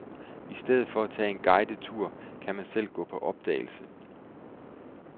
I stedet for at tage en guidet tur, kan man selv gå på opdagelse.